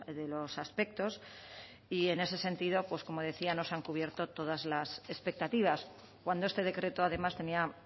de los aspectos y en ese sentido pues como decía no se han cubierto todas las expectativas cuando este decreto además tenía